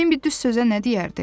Bimbi düz sözə nə deyərdi?